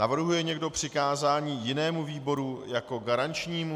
Navrhuje někdo přikázání jinému výboru jako garančnímu?